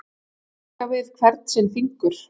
Að leika við hvern sinn fingur